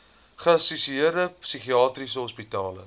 geassosieerde psigiatriese hospitale